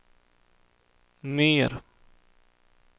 mer